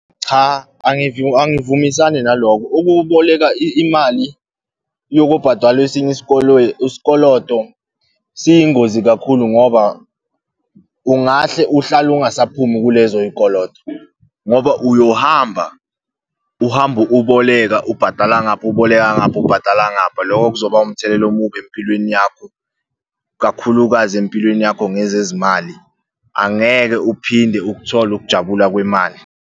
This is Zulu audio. Cha, angivumisani naloko. Ukuboleka imali yokobhadala esinye isikoloto, siyingozi kakhulu ngoba ungahle uhlale ungasaphumi kulezo y'koloto. Ngoba uyohamba uhambe uboleka, ubhadala ngapha, uboleka ngapha, ubhadala ngapha. Loko kuzoba umthelela omubi empilweni yakho, kakhulukazi empilweni yakho ngezezimali, angeke uphinde ukuthola ukujabula kwemali.